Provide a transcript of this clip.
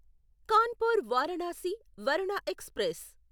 Kanpur Varanasi Varuna express